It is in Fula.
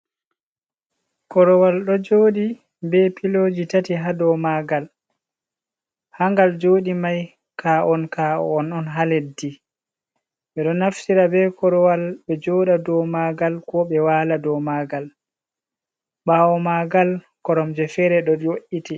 Korowal ɗo joɗi be piloji tati ha dou magal, ha ngal jodi mai ka on ka on on ha leddi, ɓe ɗo naftira be korowal be joɗa dou magal, ko ɓe wala dou magal, ɓawo magal korom je fere ɗo jo’iti.